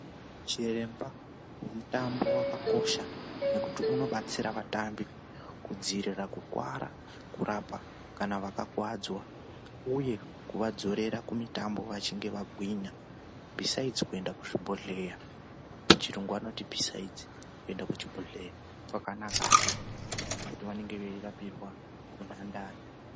Chiremba wemuthambo wakakosha nekuti unobatsira vatambi kudziirira kukuwara, kurapa kana vakakuwadzwa uye kuvadzorera kumithambo vachinge vagwinya. Bhisaidzi kuenda kuzvibhodhleya, pachirungu anoti besides kuenda kuchibhodheya kwakanakahe ngekuti vanonge vachitapirwa munhandare.